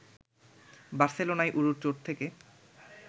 বার্সেলোনায় উরুর চোট থেকে